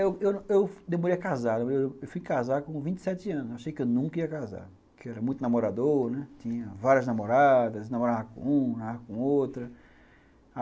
É, eu eu eu demorei a casar, eu fui casar com vinte sete anos, achei que eu nunca ia casar, porque eu era muito namorador, né, tinha várias namoradas, namorava com uma, namorava com outra.